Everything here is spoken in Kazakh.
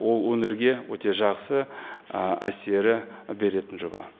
ол өңірге өте жақсы ы әсері беретін жоба